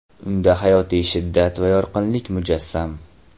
Unda hayotiy shiddat va yorqinlik mujassam.